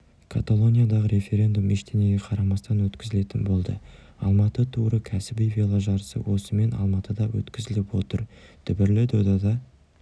каталониядағы референдум ештеңеге қарамастан өткізілетін болды алматы туры кәсіби веложарысы осымен алматыда өткізіліп отыр дүбірлі додада